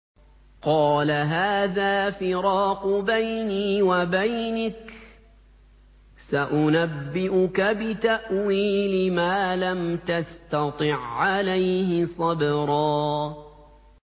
قَالَ هَٰذَا فِرَاقُ بَيْنِي وَبَيْنِكَ ۚ سَأُنَبِّئُكَ بِتَأْوِيلِ مَا لَمْ تَسْتَطِع عَّلَيْهِ صَبْرًا